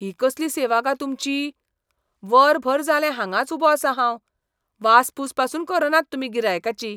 ही कसली सेवा गा तुमची? वरभर जालें हांगाच उबो आसा हांव. वासपूस पासून करनात तुमी गिरायकाची.